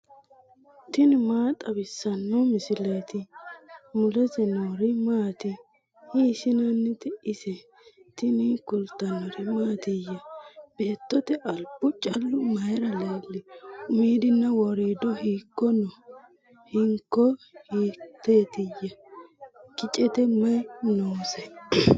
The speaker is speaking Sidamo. tini maa xawissanno misileeti ? mulese noori maati ? hiissinannite ise ? tini kultannori mattiya? Beettote alibbu callu mayiira leeli ? Umiddinna woriiddo hiikko noo? hinkko hiittootteya? kiccette mayi noose?